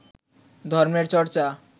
ধর্মের চর্চা